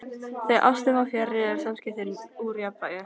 Þegar ástin er fjarri eru samskiptin úr jafnvægi.